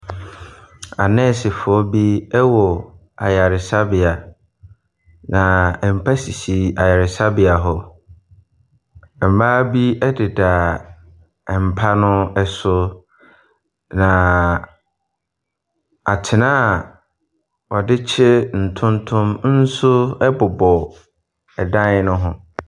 Anɛɛsefoɔ bi wɔ ayaresabea. Na mpa sisi ayaresabea hɔ. Mmaa bi deda mpa no so, na atenan a wɔde kye ntontom nso bobɔ ɛdan no ho.